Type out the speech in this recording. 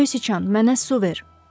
Göy Sıçan, mənə su ver!